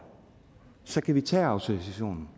så kan vi tage autorisationen